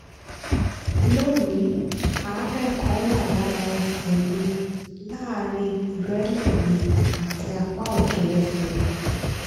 lónìí àárẹ̀ kan wà lára ẹsẹ̀ mi láàárín ìrẹ́lẹ̀ mi àti apá òkè ẹsẹ̀ mi